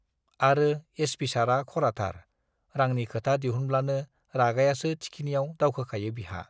आरो एसपि सारआ खराथार, रांनि खोथा दिहुनब्लानो रागायासो थिखिनियाव दावखोखायो बिहा।